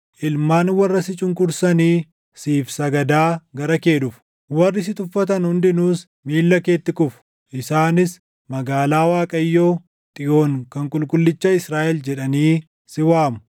Ilmaan warra si cunqursanii siif sagadaa gara kee dhufu; warri si tuffatan hundinuus miilla keetti kufu; isaanis Magaalaa Waaqayyoo Xiyoon kan Qulqullicha Israaʼel jedhanii si waamu.